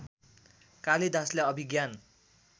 कालिदासले अभिज्ञान